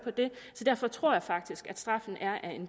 så derfor tror jeg faktisk at straffen